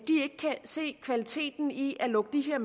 se kvaliteten i at lukke de her